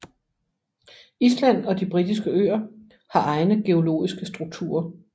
Island og De Britiske Øer har egne geologiske strukturer